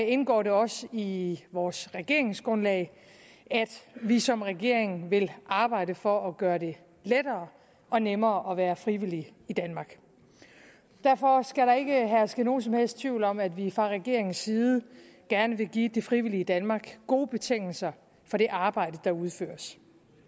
indgår det også i vores regeringsgrundlag at vi som regering vil arbejde for at gøre det lettere og nemmere at være frivillig i danmark derfor skal der ikke herske nogen som helst tvivl om at vi fra regeringens side gerne vil give det frivillige danmark gode betingelser for det arbejde der udføres